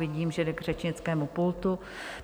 Vidím, že jde k řečnickému pultu.